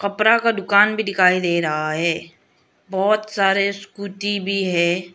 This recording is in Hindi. कपड़ा का दुकान भी दिखाई दे रहा है बहुत सारे स्कूटी भी है।